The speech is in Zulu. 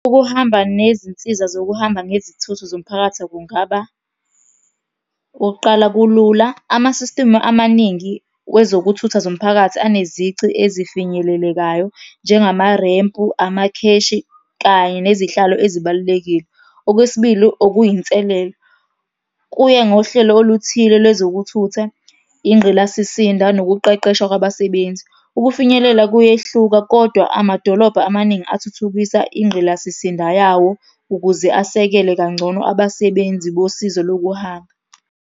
Ukuhamba nezinsiza zokuhamba ngezithuthi zomphakathi kungaba, okokuqala kulula. Ama-system amaningi kwezokuthutha zomphakathi anezici ezifinyelelekayo, njengamarempu, amakheshi, kanye nezihlalo ezibalulekile. Okwesibili okuyi inselelo, kuye ngohlelo oluthile lwezokuthutha, ingqilasisinda nokuqeqeshwa kwabasebenzi. Ukufinyelela kuyehluka, kodwa amadolobha amaningi athuthukisa ingqilasisinda yawo ukuze asekele kangcono abasebenzi bosizo lokuhamba.